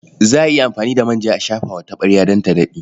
Za a iya amfani da manja a shafa wa taɓarya don ta daɗe.